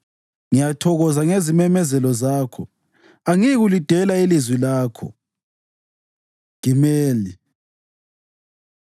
Ngiyathokoza ngezimemezelo zakho; angiyikulidela ilizwi lakho. ג Gimel